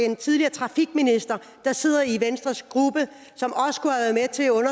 en tidligere trafikminister der sidder i venstres gruppe som